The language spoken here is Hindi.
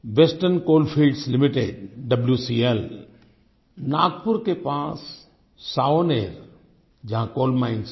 western coalfields limited WCL Nagpur के पास एक सावनेर जहाँ कोल माइन्स हैं